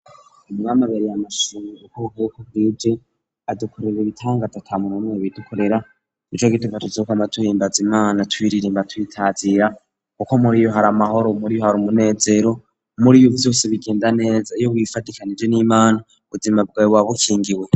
umwami abereye amashimwe uko bukeye uko bwije adukorera ibitangaza atanumwe yabidukorera, nico gituma tuzokwama duhimbaza imana tuyiririmba tuyitazira, kuko muri iyo hari amahoro, muri iyo hari munezero, muri yo vyose bigenda neza iyo wifadikanije n'imana mu buzima bwawe buba bukingiwe.